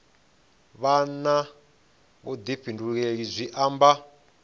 vha na vhuḓifhinduleli zwi amba